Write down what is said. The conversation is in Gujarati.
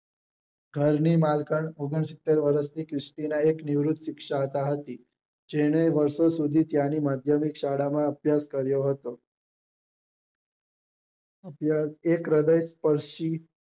ઘર ની માલકણ ઓગણસિત્તેર વર્ષ ની ક્રિશ્ટિના એક નિવૃત શિક્ષિકા હતી જેને વર્ષો સુધી ત્યાંની માધ્યમિક શાળા માં અભ્યાસ કર્યો હતો અત્યારે એક હૃદય સ્પર્શી